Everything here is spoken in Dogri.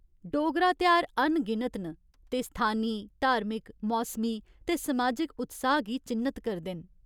डोगरा तेहार अनगिनत न ते स्थानी, धार्मिक, मौसमी ते समाजिक उत्साह् गी चि'न्नत करदे न।